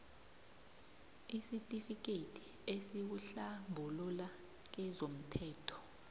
isitifikethi esikuhlambulula kezomthelo